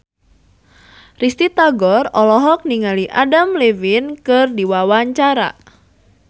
Risty Tagor olohok ningali Adam Levine keur diwawancara